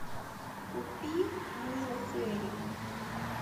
купи мыло фейри